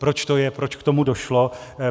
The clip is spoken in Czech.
Proč to je, proč k tomu došlo?